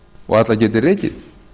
og alla geti rekið